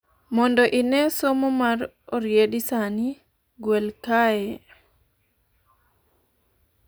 mondo ine somo ma oriedi sani, gwel kae